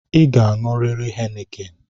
ị ga-aṅurịrị heineken